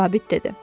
zabit dedi.